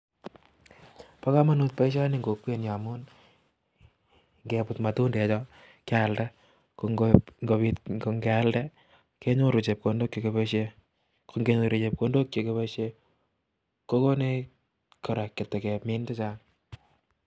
Paa kamanut pasihoni. emg kokwet amun. ngebutatindek kelanda ko.ngealnda kenyoruu chepkondok chechang neaa KO.ngenyor